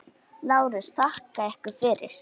LÁRUS: Þakka yður fyrir!